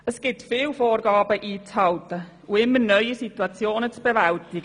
Es gilt viele Vorgaben einzuhalten und immer neue Situationen zu bewältigen;